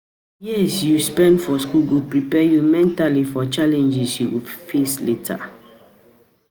Years you spend for School go prepare you mentally for challenges you go face later.